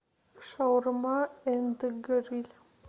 шаурма энд гриль